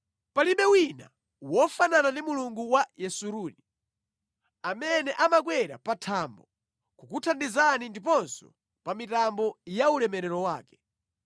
“Palibe wina wofanana ndi Mulungu wa Yesuruni, amene amakwera pa thambo kukuthandizani ndiponso pa mitambo ya ulemerero wake.